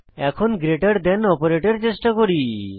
এখন গ্রেটের থান অপারেটর চেষ্টা করি